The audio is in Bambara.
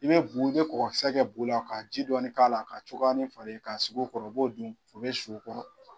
I bɛ bu i bɛ kɔgɔkisɛ bu la ka ji dɔɔni k'a la k'a cogoyani falen k'a sigi u kɔrɔ u b'o dun u bɛ si u kɔrɔ.